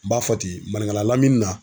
N b'a fɔ ten maninkala lamini na.